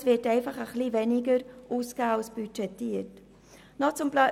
Es wird einfach weniger ausgegeben als budgetiert.